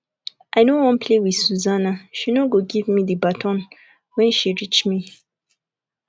i no wan play with susanna she no go give me the baton wen she reach me